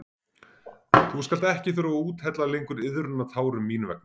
Þú skalt ekki þurfa að úthella lengur iðrunartárum mín vegna.